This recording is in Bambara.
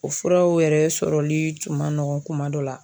O furaw yɛrɛ sɔrɔli tun ma nɔgɔn kuma dɔ la.